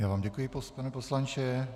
Já vám děkuji, pane poslanče.